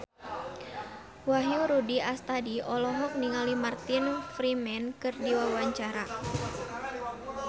Wahyu Rudi Astadi olohok ningali Martin Freeman keur diwawancara